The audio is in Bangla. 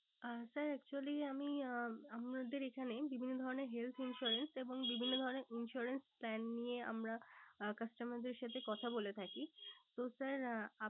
আহ sir actually আমি আহ আমাদের এখানে বিভিন্ন ধরণের health insurance এবং বিভিন্ন ধরণের insurance plan নিয়ে আমরা আহ customer দের সাথে কথা বলে থাকি। তো sir